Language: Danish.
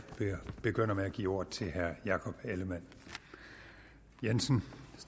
begynder med at give ordet til herre jakob ellemann jensen